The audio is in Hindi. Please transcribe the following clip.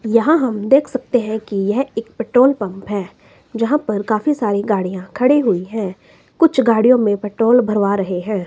यहां हम देख सकते हैं कि यह एक पेट्रोल पंप है जहां पर काफी सारी गाड़ियां खड़ी हुई है कुछ गाड़ियों में पेट्रोल भरवा रहे हैं।